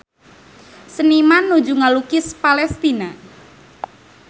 Seniman nuju ngalukis Palestina